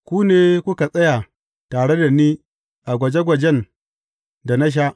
Ku ne kuka tsaya tare da ni a gwaje gwajen da na sha.